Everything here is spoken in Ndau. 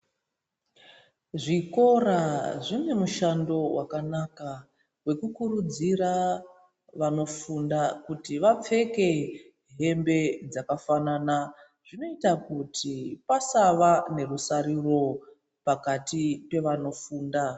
Zvikora zvine mushando wakanaka wekukurudzira vanofunda kuti vapfeke hembe dzakafanana zvinoita kuti pasava nerusaruro pakati pevanofunda.